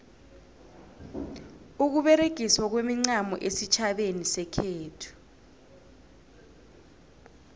ukuberegiswa kwemincamo esitjhabeni sekhethu